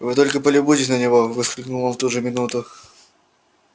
вы только полюбуйтесь на него воскликнул он в ту же минуту